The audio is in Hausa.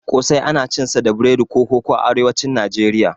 ƙosai ana cinsa da biredi ko koko a arewacin Nijeriya.